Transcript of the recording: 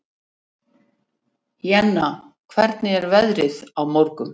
Jenna, hvernig er veðrið á morgun?